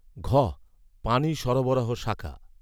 ঘঃ পানি সরবরাহ শাখা